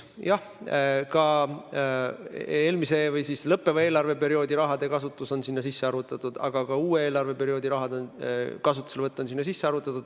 Jah, sinna sisse on arvutatud lõppeva eelarveperioodi raha kasutus, aga ka uue eelarveperioodi raha kasutus.